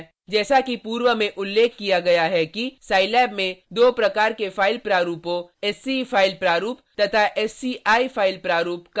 जैसा कि पूर्व में उल्लेख किया गया है कि scilab में दो प्रकार के फाइल प्रारूपों sce फ़ाइल प्रारूप तथा sci फ़ाइल प्रारूप का प्रयोग किया जाता है